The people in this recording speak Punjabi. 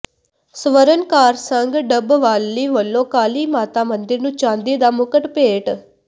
ਸਵਰਨਕਾਰ ਸੰਘ ਡੱਬਵਾਲੀ ਵੱਲੋਂ ਕਾਲੀ ਮਾਤਾ ਮੰਦਿਰ ਨੂੰ ਚਾਂਦੀ ਦਾ ਮੁਕਟ ਭੇਟ